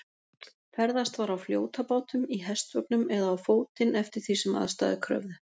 Ferðast var á fljótabátum, í hestvögnum eða á fótinn eftir því sem aðstæður kröfðu.